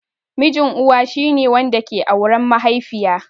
Mijin Uwa shi ne wanda ke auren mahaifiya.